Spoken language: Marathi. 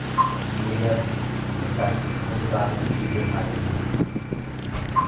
निर्यातीसाठी अनुदानही दिले आहे.